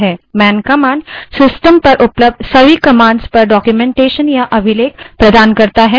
man man command system पर सभी उपलब्ध command के बारे में डाक्यूमेन्टेशन या अभिलेख प्रदान करता है